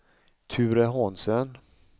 Ture Hansen